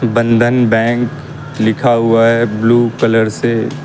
बंधन बैंक लिखा हुआ है ब्लू कलर से --